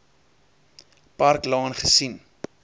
park laan gesien